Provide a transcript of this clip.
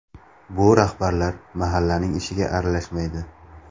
Bu rahbarlar mahallaning ishiga aralashmaydi.